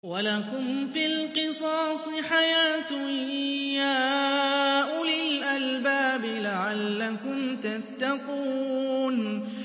وَلَكُمْ فِي الْقِصَاصِ حَيَاةٌ يَا أُولِي الْأَلْبَابِ لَعَلَّكُمْ تَتَّقُونَ